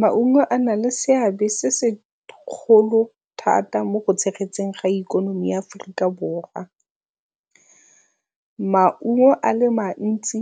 Maungo a na le seabe se se kgolo thata mo go tshegetseng ga ikonomi ya Aforika Borwa. Maungo a le mantsi